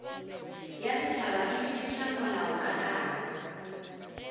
ya setšhaba e fetiša molaokakanywa